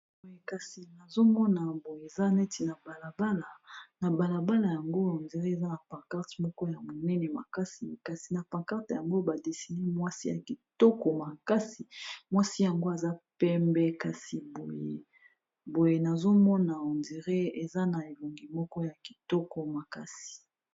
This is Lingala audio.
Kasi nazomona boye eza neti na balabala yango on dirait eza na pancarte moko ya monene makasi kasi na pancarte yango ba dessiner mwasi ya kitoko makasi aza pembe kasi boye nazomona on dirait aza na elongi moko ya kitoko makasi.